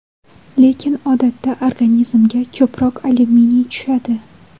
Lekin odatda organizmga ko‘proq alyuminiy tushadi.